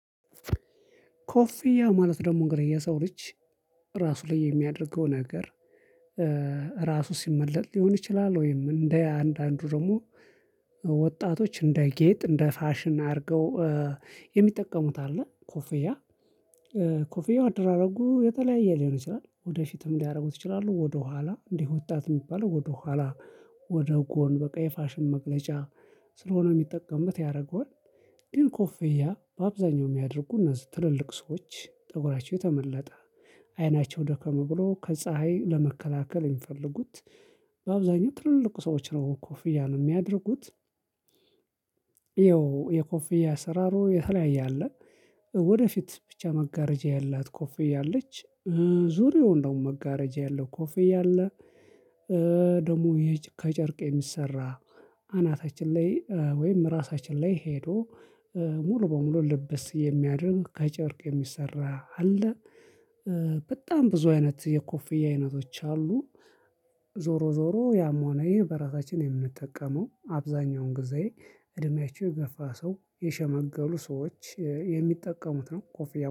ኮፊያ ማለት ደግሞ እንግዲህ የሰው ልጅ እራሱ ላይ የሚያደርገው ነገር ራሱ ሲመለጥ ሊሆን ይችላል ወይም እንደ አንዳንዱ ደግሞ ወጣቶች እንደ ጌጥ እንደ ፋሽን አድርገው የሚጠቀሙት አለ ኮፍያ ኮፍያው አደራረጉ የተለያየ ሊሆን ይችላል ወደፊትም ሊያደርጉት ይችላሉ ወደኋላ እንዲህ ወጣት የሚባለው ወደኋላ ወደ ጎን በቃ የፋሽም መግለጫ ስለሆነ የሚጠቀምበት ያደርገዋል ግን ኮፌያ በአብዛኛው የሚያደርጉ እነዚህ ትልልቅ ሰዎች ጠጉራቸው ተመለጠ አይናቸው ደከም ብሎ ከፀሀይ ለመከላከል የሚፈልጉት በአብዛኛው ትልልቁ ሰዎች ነው ኮፍያ ነው የሚያደርጉት። ይኸው የኮፍያ አሰራሩ የተለያየ አለ። ወደፊት ብቻ መጋረጃ ያላት ኮፍያ አለች ዙሪያው እንደው መጋረጃ ያለው ኮፌ ያለ ደግሞ ከጨርቅ የሚሰራ አናታችን ላይ ወይም እራሳችን ላይ ሄዶ ሙሉ በሙሉ ልበስ የሚያድርግ ከጨርቅ የሚሰራ አለ። በጣም ብዙ አይነት የኮፍያ አይነቶች አሉ። ዞሮ ዞሮ ያም ሆኖ በራሳችን የምንጠቀመው አብዛኛውን ጊዜ እድሜያችሁ የገፋ ሰው የሸመገሉ ሰዎች የሚጠቀሙት ነው ኮፍያ